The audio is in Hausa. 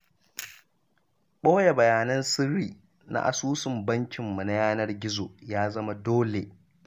Ɓoye bayanan sirri na asusun bankinmu na yanar gizo ya zama dole.